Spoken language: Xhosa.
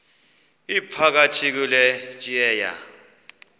iphakathi kule tyeya